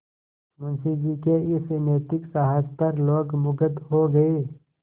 मुंशी जी के इस नैतिक साहस पर लोग मुगध हो गए